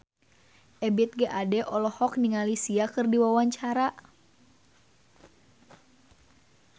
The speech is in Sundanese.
Ebith G. Ade olohok ningali Sia keur diwawancara